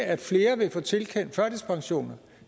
at flere vil få tilkendt førtidspensioner